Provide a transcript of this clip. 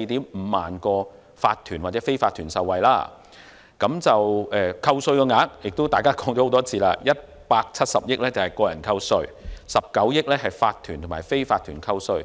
以及 145,000 個法團或非法團受惠，扣稅額——大家亦說過很多次 ——170 億元屬個人扣稅 ，19 億元屬法團及非法團扣稅。